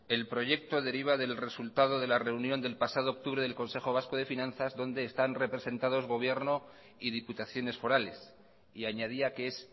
el proyecto deriva del resultado de la reunión del pasado octubre del consejo vasco de finanzas donde están representados gobierno y diputaciones forales y añadía que es